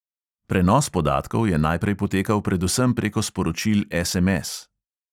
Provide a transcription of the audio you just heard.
Prenos podatkov je najprej potekal predvsem preko sporočil SMS.